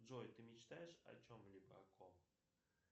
джой ты мечтаешь о чем либо о ком